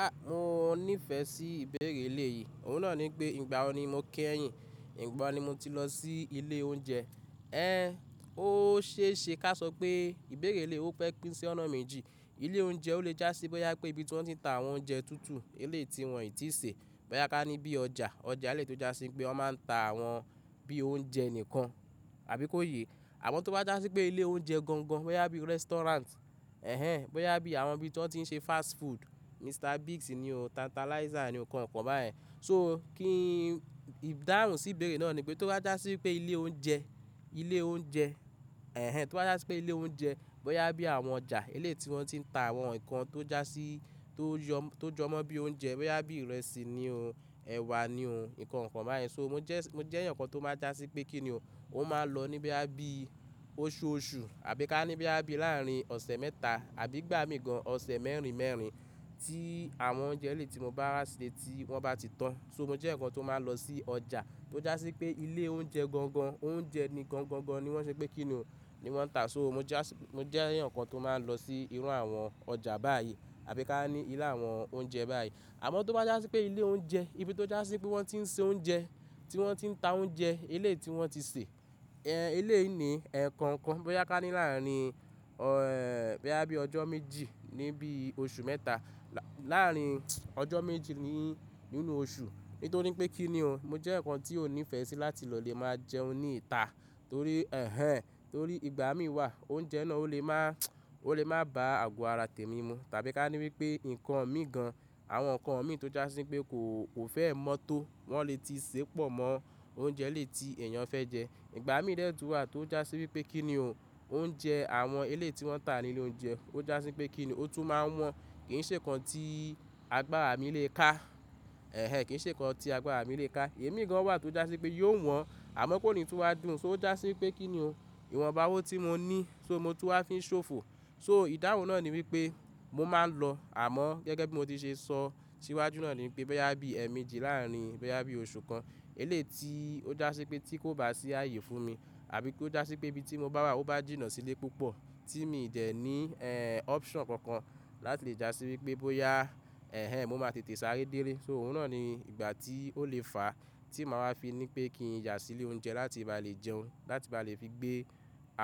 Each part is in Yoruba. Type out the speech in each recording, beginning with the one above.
A, mo nífẹ̀ẹ́ sí ìbéèrè eléyìí. Òun náà ni pé ìgbà wò ni mo ké ẹyin? Ìgbà wo ni mo ti lọ sí ilé oúnjẹ? Ẹn, ó ṣe é ṣe ká sọ pé ìbéèrè eléyìí ó pẹ́ pín sí ọ̀nà méjì. Ilé oúnjẹ ó lè jásí bóyá pé ibi tí wọ́n ti ń tà àwọn oúnjẹ tútù, eléyìí wọn i ti ṣe, bóyá ká ní bí ọjà, ọjà eléyìí tó jásí pé wọ́n máa ń tà àwọn bí oúnjẹ nìkan, àbí kó yé. Àmọ́ tó bá jásí pé ilé oúnjẹ gangan, bóyá bí restaurant, ẹ̀hen, bóyá bí àwọn ibi tí wọ́n ti ń ṣe fast food, Mr Biggs ni o, Tantalizer ni o, nǹkan kan bá yẹn. So kí ìdáhùn sí ìbéèrè náà ni pé tó bá jásí pé ilé oúnjẹ, ilé oúnjẹ, ẹ̀hen, tó bá jásí pé ilé oúnjẹ, bóyá bí àwọn ọjà eléyìí ti wọn tí ń tà àwọn nǹkan tó jásí tó yo, tó jọmọ́ bí oúnjẹ, bóyá bí ìrẹsì ni o, ẹ̀wà ni o, nǹkan kan bá yẹn. So mo jẹ́, mo jẹ́ ẹ̀yàn kan tó máa ń jásí pé kí ni o, ó máa ń lọ ní bóyá bí oṣooṣù, àbí ká ní bóyá bí láàrin ọ̀sẹ̀ mẹ́ta, àbí ìgbà mí gan-an ọ̀sẹ̀ mẹ́rin mẹ́rin tí àwọn oúnjẹ eléyìí ti mo bá rà sílé tí wọ́n bá ti tán. So mo jẹ́ ẹ̀yàn kan tó máa lọ sí ọjà tó jásí pé ilé oúnjẹ gangan, oúnjẹ ni gangan ni wọ́n ṣe pé kí ni o, ni wọ́n ń tà. So mo jásí, mo jeeyàn kan tó máa ń lọ sí irú àwọn ọjà báyìí, àbí ká ní ilé àwọn oúnjẹ báyìí. Àmọ́ tó bá jásí pé ilé oúnjẹ, ibi tó jásí pé wọ́n ti ń ṣe oúnjẹ, tí wọ́n ti ń tà oúnjẹ eléyìí ti wọ́n ti sè, ẹ́n eléyìí ni enkan kan, bóyá ká ní láàrin ọ, ẹ́ẹ́ bóyá bí ọjọ́ méjì níbí oṣù mẹ́ta, láàárin ọjọ́ méjì ni nínú oṣù. Nítorí pé kí ni o, mo jẹ́ ẹ̀yàn kan tí kò nífẹ̀ẹ́ sí láti lọ lè máa jẹun ní ìta, torí ẹ́hen, torí ìgbà mí wà oúnjẹ náà ó lè má, ó lè má bá àgọ́ ara tèmi mu. Tàbí ká ní wípé nǹkan mi gan-an, àwọn nǹkan mi tó jásí pé kò, kò fẹ́ mọ́ tó wọ́n lè ti ṣépọ̀ mọ́ oúnjẹ eléèti èèyàn fẹ́ jẹ. Ìgbà mí dẹ̀ tún wá tó jásí wípé kí ni o, oúnjẹ àwọn eléyìí ti wọ́n ń tà nílé oúnjẹ ó jásí pé kí ni o, ó tún máa ń wọ́n. Kì í ṣe nǹkan tí agbára mi lè ká, ẹ́hen, kì í ṣe nǹkan tí agbára mi lè ká. Imi gan-an wà tó jásí pé yóò wọ́n, àmọ́ kò ní tún wá dùn. So ó jásí pé kí ni o, ìwọ̀nba owó tí mo ní, so mo tún wá fi ń ṣòfò. So ìdáhùn náà ni wípé mo máa ń lọ, àmọ́ gẹ́gẹ́ bí mo ti ṣe sọ, síwájú náà ni pé bóyá bí ẹ̀mí di láàrin, bóyá bí oṣù kan eléyìí ti ó jásí pé tí kò bá sí ààyè fún mi, àbí kó jásí pé ibi tí mo bá wà ó bá jìnnà sílé púpọ̀ tí mi ì dẹ̀ ní ẹ́n option kankan láti lè jásí wípé bóyá, ẹ́hen, mo máa tètè sáré délé. So òun náà ni ìgbà tí ó lè fàá tí màá wá fi ní pé kí n yà sílé oúnjẹ láti bá lè jẹun, láti bá lè fi gbé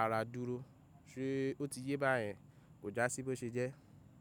ara dúró. Ṣe o ti yé bá yẹn? Kò jásí bó ṣe jẹ́.